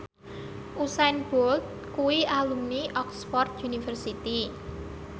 Usain Bolt kuwi alumni Oxford university